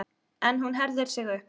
En hún herðir sig upp.